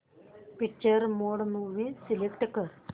picture mode movie select कर